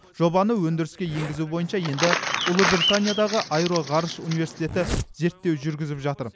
жобаны өндіріске енгізу бойынша енді ұлыбританиядағы аэроғарыш университеті зерттеу жүргізіп жатыр